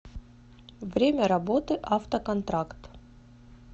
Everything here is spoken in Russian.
время работы автоконтракт